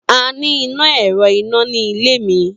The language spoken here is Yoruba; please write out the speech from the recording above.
A ni ina ẹrọ ina ni ile mi.